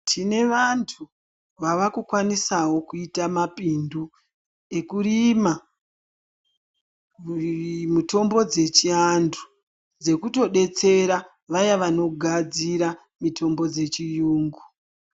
Tine vantu vava kukwanisawo kuita mapindu ekurima mitombo dzechiantu dzekutodetsera vaya vanogadzira mitombo dzechiyungu.